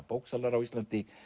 bóksalar á Íslandi